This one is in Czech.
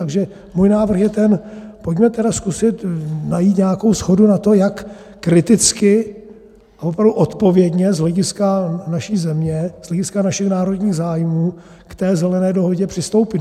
Takže můj návrh je ten, pojďme tedy zkusit najít nějakou shodu na tom, jak kriticky a opravdu odpovědně z hlediska naší země, z hlediska našich národních zájmů, k té Zelené dohodě přistoupit.